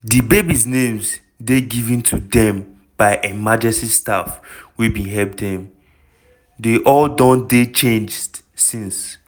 di babies' names dey given to dem by emergency staff wey bin help dem - dey all don dey changed since.